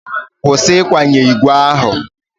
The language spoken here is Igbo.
Kwụsị ịkwanye igwe ahụ!